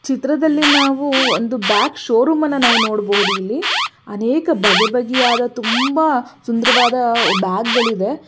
ಚಿತ್ರದಲ್ಲಿ ನಾವು ಒಂದು ಬ್ಯಾಕ್ ಶೋರೂಮ್ ಅನ್ನು ನಾವು ನೋಡಬಹುದು ಇಲ್ಲಿ ಅನೇಕ ಬಗೆ ಬಗೆಯ ತುಂಬಾ ಸುಂದರವಾದ ಬ್ಯಾಗುಗಳಿವೆ .